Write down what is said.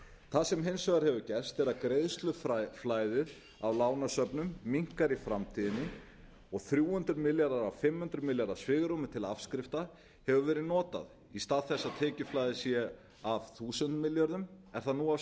það sem hins vegar hefur gerst er að greiðsluflæðið á lánasöfnum minnkar í framtíðinni og þrjú hundruð milljarðar af fimm hundruð milljarða svigrúmi til afskrifta hefur verið notað í stað þess að tekjuflæðið sé af þúsund milljörðum en það nú á